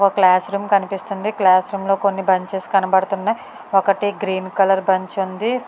ఒక class room కనిపిస్తోంది class room లో కొన్ని బెంచెస్ కనబడుతున్నాయి ఒకటి గ్రీన్ కలర్ బెంచ్ ఉంది.